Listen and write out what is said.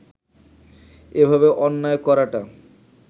এভাবে অন্যায় করাটা